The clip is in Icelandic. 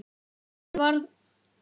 Af þessu varð ekki.